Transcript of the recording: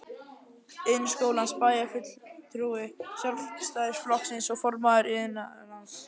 Iðnskólans, bæjarfulltrúi Sjálfstæðisflokksins og formaður Iðnráðs